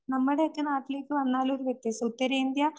നമ്മുടെയൊക്കെ നാട്ടിലേക്ക് വന്നാല് ഒരു വ്യത്യസ്ത,